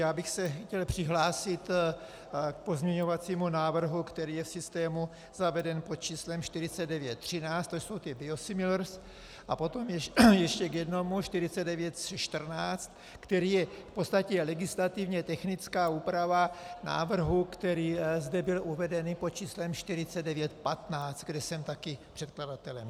Já bych se chtěl přihlásit k pozměňovacímu návrhu, který je v systému zaveden pod číslem 4913, to jsou ty biosimilars, a potom ještě k jednomu, 4914, který je v podstatě legislativně technická úprava návrhu, který zde byl uvedený pod číslem 4915, kde jsem taky předkladatelem.